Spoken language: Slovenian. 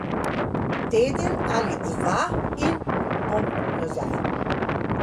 Teden ali dva in bom nazaj.